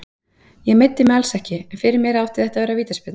Ég meiddi mig alls ekki, en fyrir mér átti þetta að vera vítaspyrna.